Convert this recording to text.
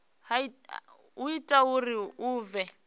o ita uri hu vhe